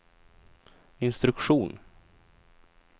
instruktion